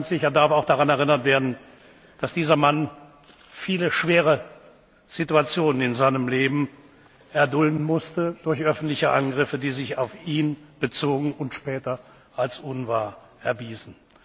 Ganz sicher darf auch daran erinnert werden, dass dieser Mann viele schwere Situationen in seinem Leben erdulden musste, durch öffentliche Angriffe, die sich auf ihn bezogen und sich später als unwahr erwiesen.